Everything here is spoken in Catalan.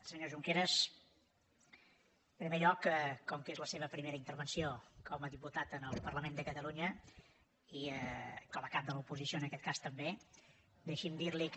senyor junqueras en primer lloc com que és la seva primera intervenció com a diputat en el parlament de catalunya i com a cap de l’oposició en aquest cas també deixi’m dir li que